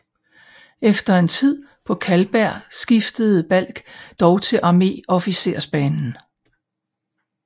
Efter en tid på Karlberg skiftede Balck dog til arméofficersbanen